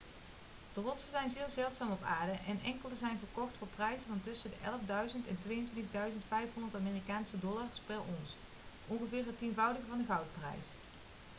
de rotsen zijn zeer zeldzaam op aarde en enkele zijn verkocht voor prijzen van tussen 11.000 en 22.500 amerikaanse dollars per ons ongeveer het tienvoudige van de goudprijs